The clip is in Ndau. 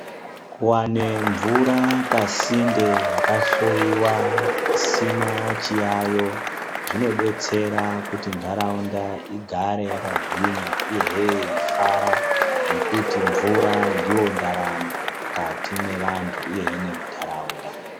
Kuwane mvura pasinde yakahloyiwa isina chiyayo zvinobetsera kuti ntaraunda igare yakagwinya uyehe yeifara nekuti mvura ndiyo ndaramo mukati me vantu uyehe nemuntaraunda .